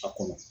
A kɔnɔ